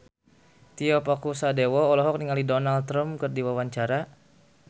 Tio Pakusadewo olohok ningali Donald Trump keur diwawancara